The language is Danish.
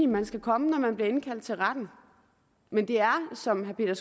man skal komme når man bliver indkaldt til retten men det er som herre